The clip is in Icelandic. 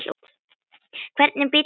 Hvernig bíll hentar?